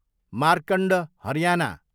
Markand Haryana